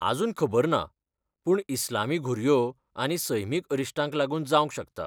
आजून खबर ना, पूण इस्लामी घुरयो आनी सैमीक अरिश्टांक लागून जावंक शकता.